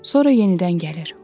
Sonra yenidən gəlir.